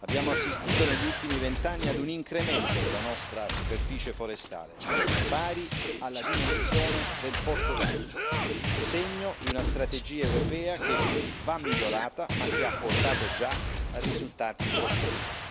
Abbiamo assistito negli ultimi vent'anni a un incremento della nostra superficie forestale pari alla dimensione del Portogallo, segno di una strategia europea che va migliorata ma che ha portato già risultati importanti.